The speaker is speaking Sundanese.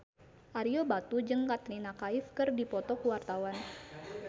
Ario Batu jeung Katrina Kaif keur dipoto ku wartawan